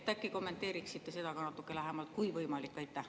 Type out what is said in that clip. Äkki kommenteeriksite seda ka natukene lähemalt, kui võimalik?